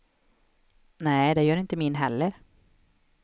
Nej, det gör inte min heller.